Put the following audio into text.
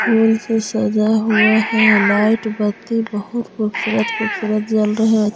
फूल से सजा हुआ है लाइट बत्ती बहुत खूबसूरत खूबसूरत जल रहे --